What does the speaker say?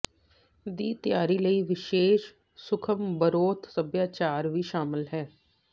ਦੀ ਤਿਆਰੀ ਲਈ ਵਿਸ਼ੇਸ਼ ਸੂਖਮ ਬਰੋਥ ਸਭਿਆਚਾਰ ਵੀ ਸ਼ਾਮਲ ਹੈ